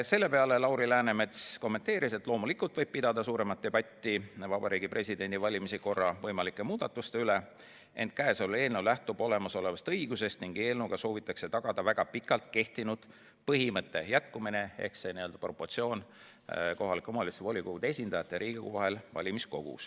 Selle peale ütles Lauri Läänemets, et loomulikult võib pidada suuremat debatti Vabariigi Presidendi valimise korra võimalike muudatuste üle, ent käesolev eelnõu lähtub olemasolevast õigusest ning sellega soovitakse tagada väga pikalt kehtinud põhimõtte jätkumine ehk valimiskogus samasuguse proportsiooni püsimine kohalike omavalitsuste volikogude esindajate ja Riigikogu liikmete vahel.